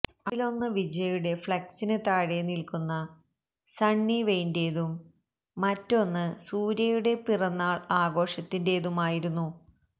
അതിലൊന്ന് വിജയ്യുടെ ഫ്ളെക്സിന് താഴെ നില്ക്കുന്ന സണ്ണി വെയ്ന്റേതും മറ്റൊന്ന് സൂര്യയുടെ പിറന്നാള് ആഘോഷത്തിന്റേതുമായിരുന്നു